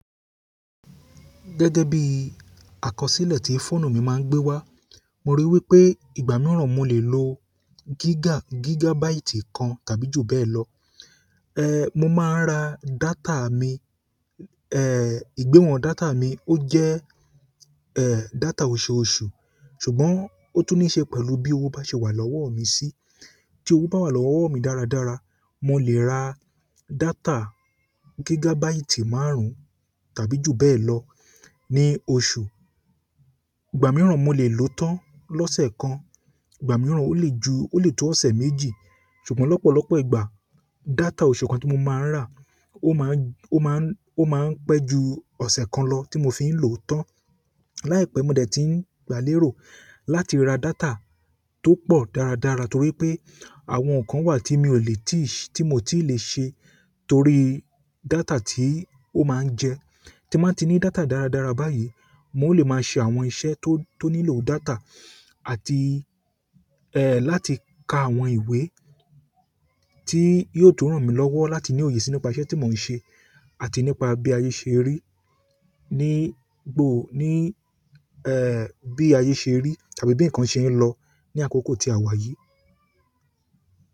Gẹ́gẹ́ bì, àkọsìlẹ tì fòònù mì màà ń gbèwà, mòrì wìpè ìgbà nà mò lè lò gìgà, gìgàbàìtì kàn-àn tàbì jù bẹẹlọ ẹ, mo máa ń ra data mi, ẹ ń, ìgbéwọn data mi ó jẹ́, ẹn, data oṣù oṣù, ṣùgbọ́n ó tún níṣe pẹ̀lú bí òwó bá ṣe wà lọ́wọ́ mi sí. Tí owó bá wà lọ́wọ́ mi dára dára, mo lè ra data gíga báìtì márùn-ún tàbí jù bẹ́ẹ̀ lọ ní oṣù. Ìgbà mìíràn mò lè lò ó tán lọ́sẹ̀ kan, ìgbà mìíràn ó lè ju, ó lè tó ọ̀sẹ̀ méjì. Ṣùgbọ́n lọ́pọ̀lọpọ̀ ìgbà, data oṣù kan tí mo máa ń rà ó máa ń, ó máa ń, ó máa ń pẹ́ ju ọ̀sẹ̀ kan lọ tí mo fi ń lò ó tán. Láìpẹ́, mo dẹ̀ tí ń gbálérò láti ra data tó pọ̀ dára dára torí pé àwọn nǹkan wà tí mi ò lè tíì ṣe, tí mo ti lè ṣe torí data tí ó máa ń jẹ. Tí mo bá ti ní data dára dára báyìí, mo lè máa ṣe àwọn iṣẹ́ tó, tó nílò data àti, ehn, láti ka àwọn ìwé tí yóò tún ràn mí lọ́wọ́ láti ní òye sínú ipá iṣẹ́ tí mò ń ṣe àti nípa bí ayé ṣe rí, ní gbò, ní, ẹẹ, bí ayé ṣe rí tàbí bí ǹkan ṣe ń lọ ní àkókò tí a wà yìí.